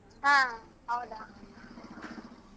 ಹಾ ಹೌದಾ .